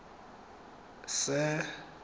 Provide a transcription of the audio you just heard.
sir